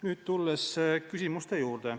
Nüüd aga lähen küsimuste juurde.